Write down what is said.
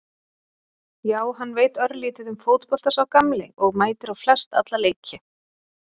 Já hann veit örlítið um fótbolta sá gamli og mætir á flest alla leiki.